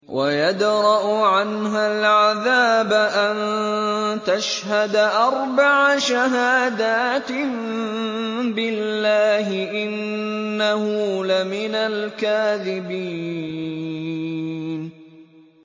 وَيَدْرَأُ عَنْهَا الْعَذَابَ أَن تَشْهَدَ أَرْبَعَ شَهَادَاتٍ بِاللَّهِ ۙ إِنَّهُ لَمِنَ الْكَاذِبِينَ